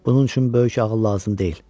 Bunun üçün böyük ağıl lazım deyil.